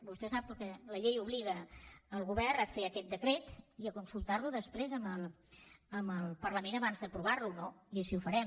vostè sap que la llei obliga el govern a fer aquest decret i a consultar lo després amb el parlament abans d’aprovar lo no i així ho farem